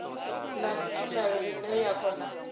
na tshumelo ine ya kona